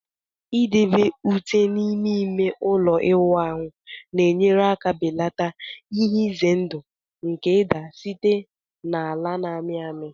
Idebe ute n'ime ime ụlọ ịwụ ahụ na-enyere aka belata ihe ize ndụ nke ịda site na ala na-amị amị